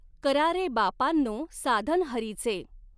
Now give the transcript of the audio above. करा रॆ बापांनॊ साधन हरीचॆं.